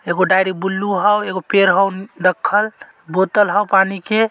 एक diary blue हौ एगो पैर हौ रखल बोतल हौ पानी के।